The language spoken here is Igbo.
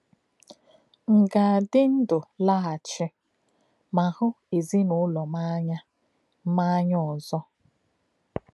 M̀ ga-adị ndụ laghachi ma hụ̀ ezinụlọ m ánya m ánya ọzọ?